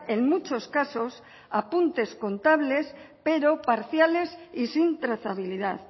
en muchos casos apuntes contables pero parciales y sin trazabilidad